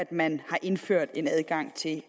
man har indført adgang til